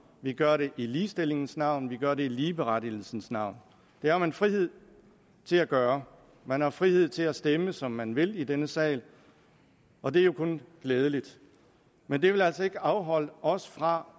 vi gør det i ligestillingens navn og vi gør det i ligeberettigelsens navn det har man frihed til at gøre man har frihed til at stemme som man vil i denne sal og det er jo kun glædeligt men det vil altså ikke afholde os fra